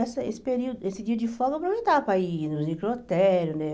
Essa esse período esse dia de fome eu aproveitava para ir no necrotério, né?